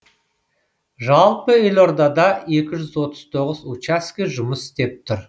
жалпы елордада екі жүз отыз тоғыз учаске жұмыс істеп тұр